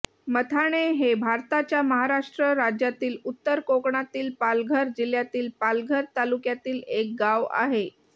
मथाणे हे भारताच्या महाराष्ट्र राज्यातील उत्तर कोकणातील पालघर जिल्ह्यातील पालघर तालुक्यातील एक गाव आहे